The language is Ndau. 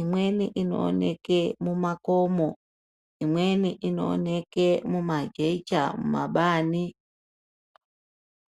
Imweni inooneke mumakomo. Imweni inooneke mumajecha mumabani.